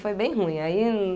Foi bem ruim. Aí